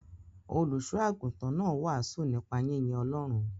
Olùṣọ́-àgùntàn náà wàásù nípa yínyin Ọlọ́run.